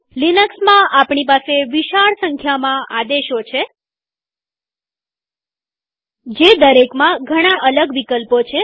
લિનક્સમાં આપણી પાસે વિશાળ સંખ્યામાં આદેશો છે જે દરેકમાં ઘણા અલગ વિકલ્પો છે